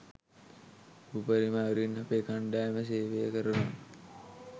උපරිම අයුරින් අපේ කණ්ඩායම සේවය කරනවා